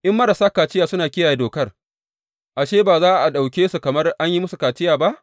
In marasa kaciya suna kiyaye dokar, ashe, ba za a ɗauke su kamar an yi musu kaciya ba?